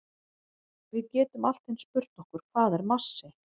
Við getum allt eins spurt okkur hvað er massi?